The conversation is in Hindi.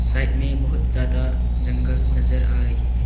साइड में बहोत ज्यादा जंगल नजर आ रही है।